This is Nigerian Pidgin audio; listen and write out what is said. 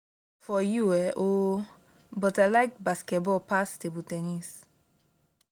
i no know for you um oo but i like basketball pass table ten nis